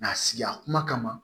a sigiya kuma kama